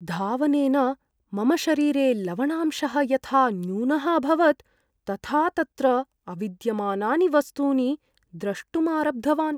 धावनेन मम शरीरे लवणांशः यथा न्यूनः अभवत्, तथा तत्र अविद्यमानानि वस्तूनि द्रष्टुम् आरब्धवान्।